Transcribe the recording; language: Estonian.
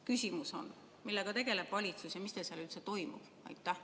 Küsimus on: millega tegeleb valitsus ja mis teil seal üldse toimub?